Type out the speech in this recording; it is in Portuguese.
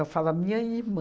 Eu falo a minha irmã.